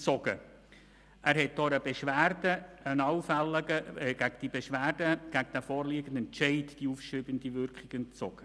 Zudem entzog auch der Regierungsstatthalter einer Beschwerde gegen diesen Entscheid die aufschiebende Wirkung.